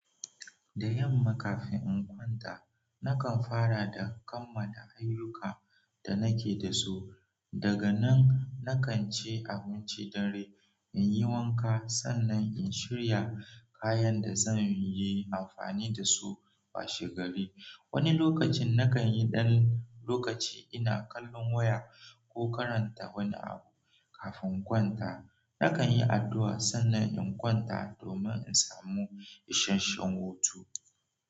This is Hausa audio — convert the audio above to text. Da yamma kafin in kwanta, nakan fara da kammala ayyukan da nake da su. Daga nan, nakan ci abinci dare, in yi wanka sannan in shirya kayan da zan yi amfani da su washe gari. Wani lokacin nakan yi ɗan lokaci ina kallon waya ko karanta wani abu. Kafin in kwanta, nakan yi addu'a sannan in kwanta domin in samu isasshen hutu.